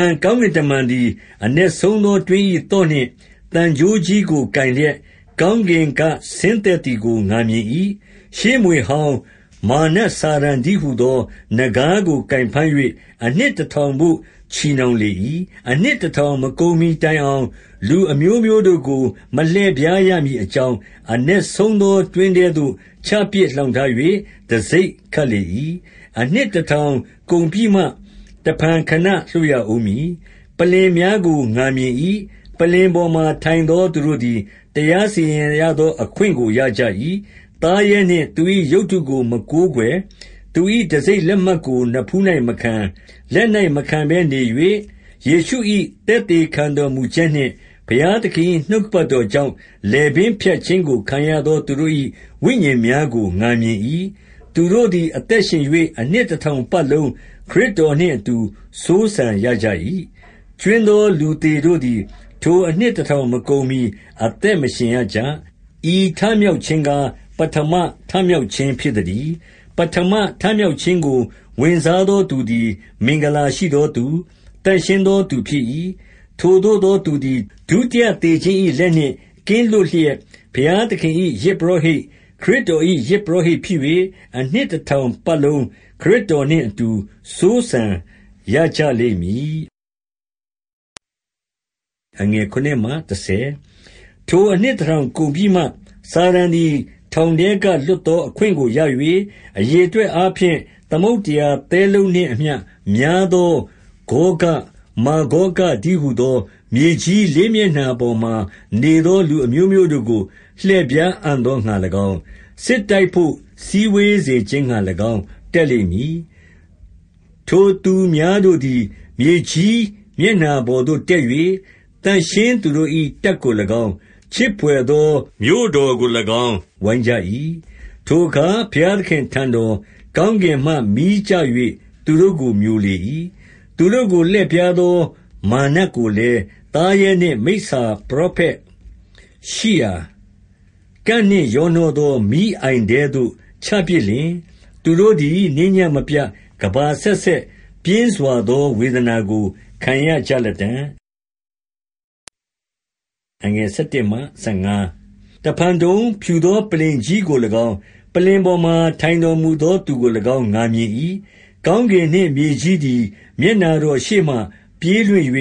န် ကောင်းကင်တမန်သည် အနက်ဆုံးသောတွင်း၏ သော့နှင့် သံကြိုးကြီးကိုကိုင်လျက် ကောင်းကင်က ဆင်းသက်သည်ကို ငါမြင်၏။- 2ရှေးမြွေဟောင်း၊ မာရ်နတ်စာတန်တည်းဟူသော နဂါးကို ကိုင်ဖမ်း၍၊ အနှစ်တစ်ထောင်ဖို့ ချည်နှောင်လေ၏။-က၊ ၃:၁။ 3အနှစ်တစ်ထောင် မကုန်မီတိုင်အောင်၊ လူအမျိုးမျိုးတို့ကို မလှည့်ဖြားရမည်အကြောင်း၊ အနက်ဆုံးသော တွင်းထဲသို့ ချပစ်လှောင်ထား၍ တံဆိပ်ခတ်လေ၏။ အနှစ်တစ်ထောင်ကုန်ပြီးမှ တစ်ဖန် ခဏလွှတ်ရဦးမည်။ 4ပလ္လင်များကိုလည်း ငါမြင်၏။ ပလ္လင်ပေါ်မှာ ထိုင်သော သူတို့သည် တရားစီရင်ရသော အခွင့်ကို ရကြ၏။ သားရဲနှင့် သူ၏ရုပ်တုကို မကိုးကွယ်၊ သူ၏ တံဆိပ်လက်မှတ်ကို နဖူး၌မခံ၊ လက်၌မခံဘဲနေ၍ ယေရှု၏ သက်သေခံတော်မူချက်နှင့် ဘုရားသခင်၏ နှုတ်ကပတ်တော်ကြောင့်၊ လည်ပင်းဖြတ်ခြင်းကို ခံရသော သူတို့၏ ဝိညာဉ်များကို ငါမြင်၏။ သူတို့သည် အသက်ရှင်၍ အနှစ်တစ်ထောင်ပတ်လုံး ခရစ်တော်နှင့်အတူ စိုးစံရကြ၏။- 5ကြွင်းသော လူသေတို့သည် ထိုအနှစ်တစ်ထောင် မကုန်မီ အသက်မရှင်ရကြ။ ဤထမြောက်ခြင်းကား၊ ပထမထမြောက်ခြင်း ဖြစ်သတည်း။- 6ပထမထမြောက်ခြင်းကို ဝင်စားသော သူသည် မင်္ဂလာရှိသောသူ၊ သန့်ရှင်းသောသူ ဖြစ်၏။ ထိုသို့သောသူသည် ဒုတိယသေခြင်း၏ လက်နှင့် ကင်းလွတ်လျက်၊ ဘုရားသခင်၏ ယဇ်ပုရောဟိတ်၊ ခရစ်တော်၏ ယဇ်ပုရောဟိတ်ဖြစ်၍ အနှစ်တစ်ထောင်ပတ်လုံး ခရစ်တော်နှင့်အတူ စိုးစံရကြလိမ့်မည်။ စာတန်အရေးနိမ့်ခြင်း 7ထိုအနှစ်တစ်ထောင်ကုန်ပြီးမှ၊ စာတန်သည် ထောင်ထဲက လွှတ်သောအခွင့်ကို ရ၍၊- 8အရေအတွက်အားဖြင့် သမုဒ္ဒရာသဲလုံးနှင့်အမျှ များသောဂေါဂ၊ မာဂေါဂတည်းဟူသော မြေကြီး လေးမျက်နှာပေါ်မှာနေသော လူအမျိုးမျိုးတို့ကို လှည့်ဖြားအံ့သောငှာလည်းကောင်း၊ စစ်တိုက်ဖို့ စည်းဝေးစေခြင်းငှာလည်းကောင်း တက်လိမ့်မည်။-ယေဇ၊ ၇:၂၊ ၃၈:၂၊၉၊၁၅။ 9ထိုသူများတို့သည် မြေကြီးမျက်နှာပေါ်သို့ တက်၍၊ သန့်ရှင်းသူတို့၏ တပ်ကိုလည်းကောင်း၊ ချစ်ဖွယ်သော မြို့တော်ကိုလည်းကောင်း၊ ဝိုင်းကြ၏။ ထိုအခါ ဘုရားသခင့်အထံတော်၊ ကောင်းကင်မှ မီးကျ၍ သူတို့ကိုမျိုလေ၏။- 10သူတို့ကိုလှည့်ဖြားသော မာရ်နတ်ကိုလည်း၊ သားရဲနှင့် မိစ္ဆာပရောဖက်ရှိရာ၊ ကန့်နှင့်ရောနှောသော မီးအိုင်ထဲသို့ ချပစ်လျှင်၊ သူတို့သည် နေ့ညမပြတ် ကမ္ဘာအဆက်ဆက် ပြင်းစွာသော ဝေဒနာကို ခံရကြလတ္တံ့။ နောက်ဆုံးတရားစီရင်ခြင်း 11တစ်ဖန်တုံ၊ ဖြူသောပလ္လင်ကြီးကိုလည်းကောင်း၊ ပလ္လင်ပေါ်မှာ ထိုင်တော်မူသောသူကိုလည်းကောင်း ငါမြင်၏။ ကောင်းကင်နှင့် မြေကြီးသည် မျက်နှာတော်ရှေ့မှ ပြေးလွင့်၍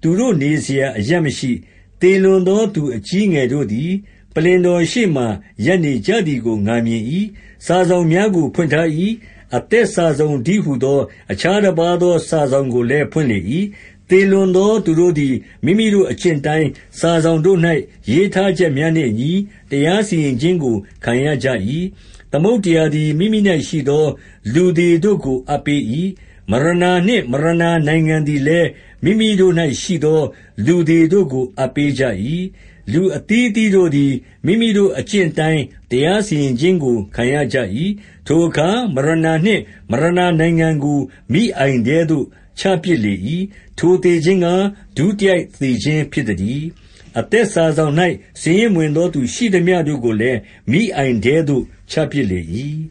သူတို့ နေစရာအရပ်မရှိ။-ဒံ၊ ၇:၉-၁၀။ 12သေလွန်သောသူ အကြီးအငယ်တို့သည် ပလ္လင်တော်ရှေ့မှာ ရပ်နကြသည်ကို ငါမြင်၏။ စာစောင်များကို ဖွင့်ထား၏။ အသက်စာစောင်တည်းဟူသော အခြားတစ်ပါးသော စာစောင်ကိုလည်း ဖွင့်လေ၏။ သေလွန်သောသူတို့သည် မိမိတို့အကျင့်အတိုင်း၊ စာစောင်တို့၌ ရေးထားချက်များနှင့်အညီ တရားစီရင်ခြင်းကို ခံရကြ၏။- 13သမုဒ္ဒရာသည် မိမိ၌ရှိသော လူသေတို့ကို အပ်ပေး၏။ မရဏနှင့် မရဏနိုင်ငံသည်လည်း မိမိတို့၌ရှိသော လူသေတို့ကို အပ်ပေးကြ၏။ လူအသီးအသီး တို့သည် မိမိတို့အကျင့်အတိုင်း တရားစီရင်ခြင်းကို ခံရကြ၏။- 14ထိုအခါ မရဏနှင့် မရဏနိုင်ငံကို မီးအိုင်ထဲသို့ ချပစ်လေ၏။ ထိုသေခြင်းကား ဒုတိယသေခြင်း ဖြစ်သတည်း။- 15အသက်စာစောင်၌ စာရင်းမဝင်သောသူ ရှိသမျှတို့ကိုလည်း မီးအိုင်ထဲသို့ ချပစ်လေ၏။